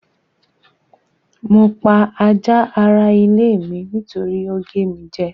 Mo pa ajá ara ilé mi nítorí ó gé mi jẹ́.